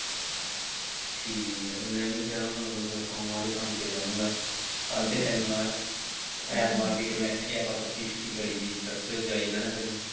ਠੀਕ ਹੈ ਤੇ ਮੈਂ ਵੀ ਕਹਿਣ ਦਾ ਮਤਲਬ ਸੋਮਵਾਰ ਹੀ ਕੰਮ ਤੇ ਜਾਊਂਗਾ ਕੱਲ ਤੇ ਸਨੀਵਾਰ ਹੈ ਐਤਵਾਰ ਦੀ ਤਾਂਂ ਵੈਸੇ ਵੀ ਆਪਾਂ ਪੱਕੀ ਛੁੱਟੀ ਕਰੀਦੀ church ਜਾਈਦਾ ਨਾ ਫਿਰ।